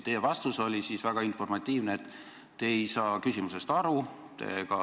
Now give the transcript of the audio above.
Teie vastus oli väga informatiivne: te ei saa küsimusest aru.